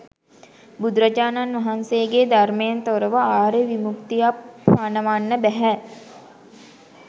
බුදුරජාණන් වහන්සේගේ ධර්මයෙන් තොරව ආර්ය විමුක්තියක් පණවන්න බැහැ.